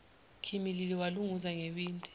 khimilili walunguza ngewindi